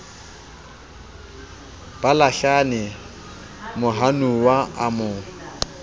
ba lahlane mohanuwa a mo